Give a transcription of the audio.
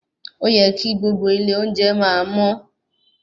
Óyẹ kí gbogbo ilé oúnjẹ máa mọ́.